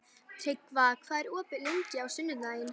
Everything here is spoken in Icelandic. Tryggva, hvað er opið lengi á sunnudaginn?